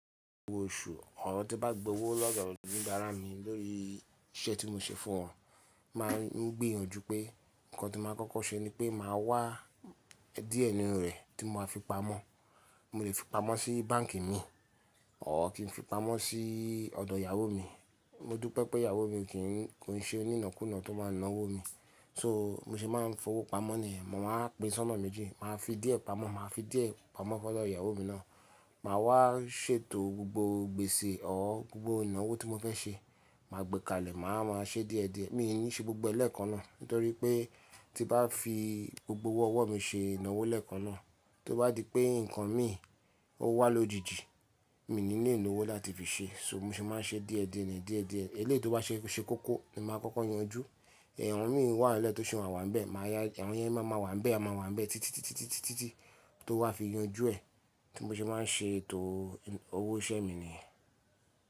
Gbogbo oṣù, ọ̀r tí n bá gbowó lọ́do oníbará mi lórí iṣẹ́ tí mo ṣe fún wọn. Má a ń gbìyànjú pé nǹkan tí màá kọ́kọ́ ṣe ni pé màá wá díẹ̀ nínú rẹ̀ tí mo máa fi pamọ́. Mo lè fi pamọ́ sí báǹkì mi, ọ̀r kí n fi pamọ́ sí ọ̀dọ̀ ìyàwó mi. Mo dúpẹ́ pé ìyàwó mi kì í, kò ṣe onínànúnà tó máa n ná owó mi. So mo ṣe máa ń fowó pamọ́ nìyẹn, màá pín sọ́nà méjì, màá fi díẹ̀ pamọ́, màá fi díẹ̀ pamọ́ fún ọ̀dọ̀ ìyàwó mi náà. Màá wá ṣètò gbogbo gbèsè ọ́, gbogbo ìnáwó tí mo fẹ́ ṣe. Màá gbẹ́kalẹ̀, màá máa ṣe díẹ̀ díẹ̀. Mi ò ní ṣe gbogbo ẹ lẹ́ẹ̀kan náà nítorí pé tí n bá fi gbogbo owó ọwọ́ mi ṣe ìnáwó lẹ́ẹ̀kan náà, tó bá di pé nǹkan mi ò wá lójijì, mi ò ní lè lówó láti fi ṣe. So mo ṣe máa ń ṣe díẹ̀ díẹ̀ nìyẹn, díẹ̀ díẹ̀. Elẹ́yi tí ó bá ṣe kókó ni màá kọ́kọ́ yanjú. Ẹ̀hàn mí wá lẹ́ẹ̀ tọ́ sì máa wà níbẹ̀. Màá ya awon yẹn, má máa wà níbẹ̀, á máa wà níbẹ̀ títí, títí, títí, títí, títí tó wá fi yanjú ẹ̀. Ti mo ṣe máa ń ṣe ètò owó iṣẹ́ mi nìyẹn.